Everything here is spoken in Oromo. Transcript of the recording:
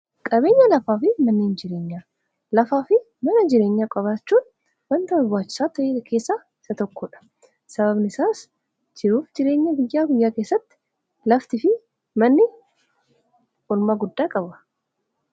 qabeenya lafaa fi mannen jireenyaa lafaa fi mana jireenyaa qobaachuun wanta barbaachsaa ta keessa isa tokkoodha sababnisaas jiruuf jireenya biyyaa guyyaa keessatti lafti fi manni ulma guddaa qabwa